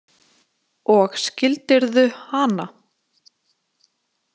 Og skildirðu hana?